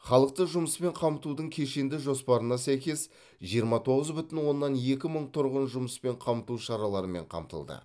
халықты жұмыспен қамтудың кешенді жоспарына сәйкес жиырма тоғыз бүтін оннан екі мың тұрғын жұмыспен қамту шараларымен қамтылды